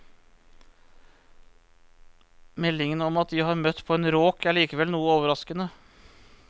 Meldingen om at de har møtt på en råk er likevel noe overraskende.